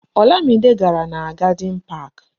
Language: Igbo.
Olamide gàrà na Garden Park